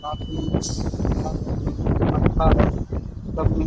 काफी सस्ता है तभी --